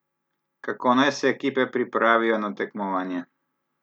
Kako naj se ekipe pripravijo na tekmovanje?